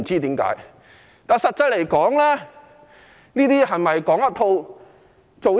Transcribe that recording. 實際上，這是否"講一套，做一套"？